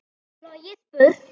Flogið burt.